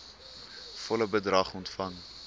volle bedrag ontvang